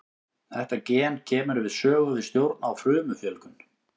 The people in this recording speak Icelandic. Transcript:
Þetta gen kemur við sögu við stjórn á frumufjölgun.